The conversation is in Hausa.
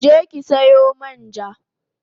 Je ki sayo man ja